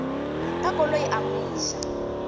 ka koloi a mo iša